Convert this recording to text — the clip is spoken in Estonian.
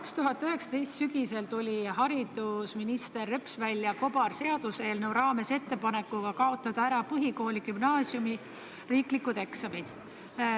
2019. aasta sügisel tuli haridusminister Reps kobarseaduseelnõu raames välja ettepanekuga kaotada ära põhikooli ja gümnaasiumi riiklikud eksamid.